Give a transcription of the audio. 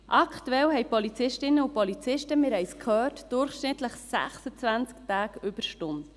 Aktuell haben Polizistinnen und Polizisten – wir haben es gehört – durchschnittlich 26 Tage Überstunden.